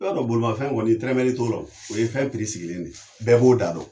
Bɛɛ b'adɔn bolimafɛn kɔni tɛrɛmɛli t'o la. O ye fɛn piri sigilen de. Bɛɛ b'o da dɔn.